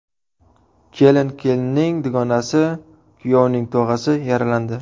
Kelin, kelinning dugonasi va kuyovning tog‘asi yaralandi.